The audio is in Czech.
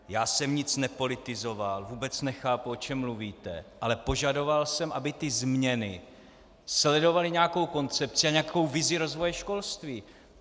Já jsem nic nepolitizoval, vůbec nechápu, o čem mluvíte, ale požadoval jsem, aby ty změny sledovaly nějakou koncepci a nějakou vizi rozvoje školství.